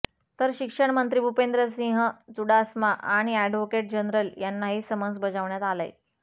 तर शिक्षणमंत्री भुपेंद्रसिंह चुडासमा आणि ऍडव्होकेट जनरल यांनाही समन्स बजावण्यात आलंय